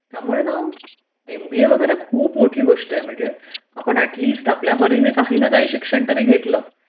त्यामुळे ना एमबीए वगैरे खूप मोठी गोष्ट आहे कारण की आपण ऍटलिस्ट आपल्या परीने काही ना काही तरी शिक्षण घेतल